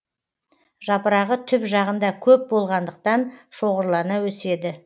жапырағы түп жағында көп болғандықтан шоғырлана өседі